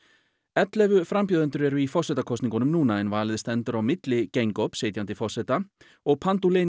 ellefu frambjóðendur eru í forsetakosningunum en valið stendur á milli sitjandi forseta og